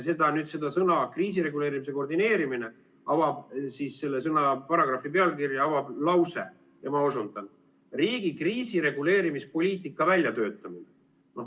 Neid sõnu "kriisireguleerimise koordineerimine", selle paragrahvi pealkirja avab lause, ma osundan: riigi kriisireguleerimispoliitika väljatöötamine.